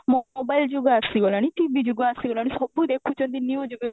mobile ଯୁଗ ଆସିଗଲାଣି TV ଯୁଗ ଆସିଗଲାଣି ସବୁ ଦେଖୁଛନ୍ତି news